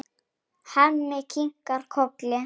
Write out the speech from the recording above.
Hemmi kinkar kolli.